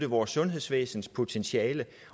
vores sundhedsvæsens potentiale